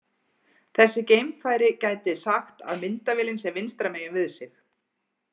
Þessi geimfari gæti sagt að myndavélin sé vinstra megin við sig.